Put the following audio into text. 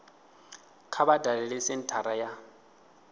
kha vha dalele senthara ya